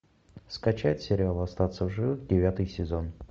скачать сериал остаться в живых девятый сезон